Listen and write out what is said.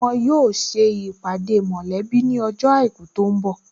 Wọn yóò ṣe ìpàdé mọ̀lẹ́bí ní ọjọ́ àìkú tó ń bọ̀